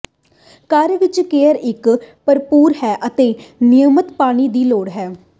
ਘਰ ਵਿੱਚ ਕੇਅਰ ਇੱਕ ਭਰਪੂਰ ਹੈ ਅਤੇ ਨਿਯਮਤ ਪਾਣੀ ਦੀ ਲੋੜ ਹੈ